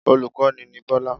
Olùkọ́ni ni Bọ́lá